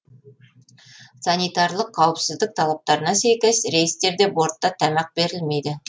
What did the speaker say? санитарлық қауіпсіздік талаптарына сәйкес рейстерде бортта тамақ берілмейді